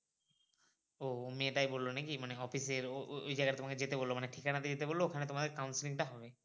ও মেয়ে টাই বললো নাকি office এর ও ওই জায়গায় তোমাকে যেতে বললো মাএ ঠিকানা দিয়ে দিতে বললো ওখানে তোমার counselling টা হবে।